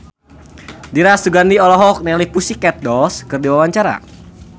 Dira Sugandi olohok ningali The Pussycat Dolls keur diwawancara